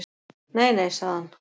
Nei nei, sagði hann.